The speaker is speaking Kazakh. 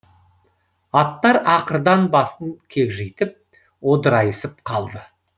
аттар ақырдан басын кекжитіп одырайысып қалды